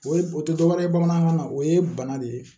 O ye o tɛ dɔ wɛrɛ ye bamanankan na o ye bana de ye